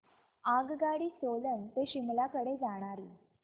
आगगाडी सोलन ते शिमला कडे जाणारी